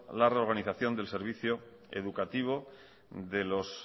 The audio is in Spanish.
la reorganización del servicio educativo de los